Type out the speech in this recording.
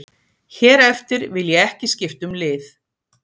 Hér eftir vil ég ekki skipta um lið.